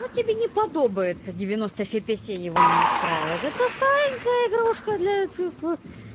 вот тебе не подобается девяносто фепесей его не устраивает да то старенькая игрушка для тф